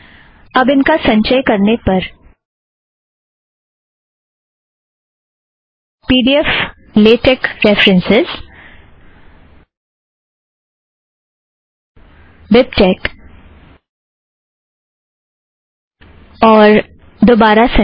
अब इनका संचय करने पर P D F LaTeX reference BibTeX और दोबारा संचय